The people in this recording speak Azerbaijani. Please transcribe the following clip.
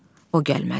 O gəlmədi.